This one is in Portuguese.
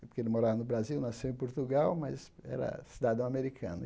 porque ele morava no Brasil, nasceu em Portugal, mas era cidadão americano.